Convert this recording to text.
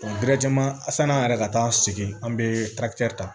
sann'an yɛrɛ ka taa segin an bɛ ta